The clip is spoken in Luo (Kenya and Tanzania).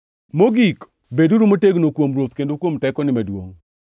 Mogik, beduru motegno kuom Ruoth, kendo kuom tekone maduongʼ.